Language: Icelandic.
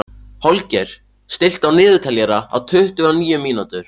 Holger, stilltu niðurteljara á tuttugu og níu mínútur.